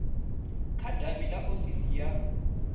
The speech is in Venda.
kha davhi ḽa ofisi ya